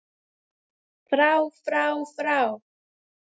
FRÁ FRÁ FRÁ